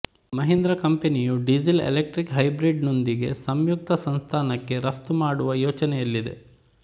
ಮಹೀಂದ್ರಾ ಕಂಪನಿಯು ಡೀಸೆಲ್ಎಲೆಕ್ಟ್ರಿಕ್ ಹೈಬ್ರಿಡ್ನೊಂದಿಗೆ ಸಂಯುಕ್ತ ಸಂಸ್ತಾನಕ್ಕೆ ರಫ್ತು ಮಾಡುವ ಯೋಚನೆಯಲ್ಲಿದೆ